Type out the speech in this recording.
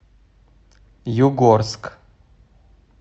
югорск